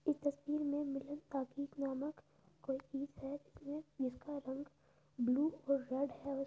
इस तस्वीर में मिलन ताकीज़ नामक कोई है इसमें जिसका रंग ब्लू और रेड है। उस् --